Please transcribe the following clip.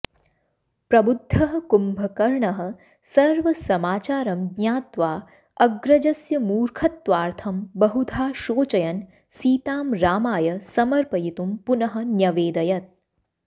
प्रबुद्धः कुम्भकर्णः सर्वसमाचारं ज्ञात्वा अग्रजस्य मूर्खत्वार्थं बहुधा शोचयन् सीतां रामाय समर्पयितुं पुनः न्यवेदयत्